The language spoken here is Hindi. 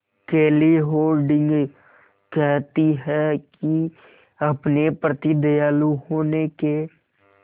केली हॉर्डिंग कहती हैं कि अपने प्रति दयालु होने के